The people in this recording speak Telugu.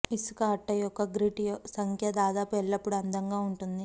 ఇసుక అట్ట యొక్క గ్రిట్ సంఖ్య దాదాపు ఎల్లప్పుడు అందంగా ఉంటుంది